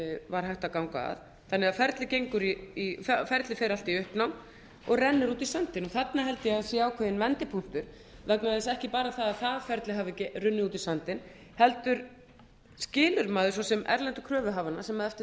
var hægt að ganga það þannig að ferlið fer allt í uppnám og rennur út í sandinn og þarna held ég að sé ákveðin vendipunktur ekki vegna þess að bara það að það ferli hafi runnið út í sandinn heldur skilur maður svo sem erlendu kröfuhafana sem eftir